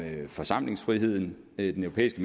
forsamlingsfriheden den europæiske